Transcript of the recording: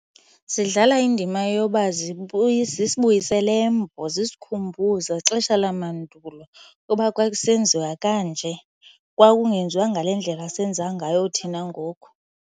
Zidlala indima yoba zisibuyisele eMbo zisikhumbuze xesha lamandulo uba kwakusenziwa kanje kwakungenziwa ngale ndlela senza ngayo thina ngoku.